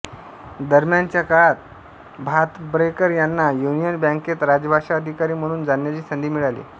दरम्यानच्या काळात भातम्ब्रेकर यांना युनियन बॅंकेत राजभाषा अधिकारी म्हणून जाण्याची संधी मिळाली